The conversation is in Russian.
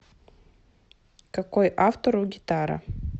какой автор у гитара